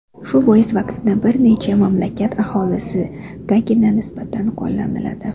Shu bois vaksina bir necha mamlakat aholisigagina nisbatan qo‘llaniladi.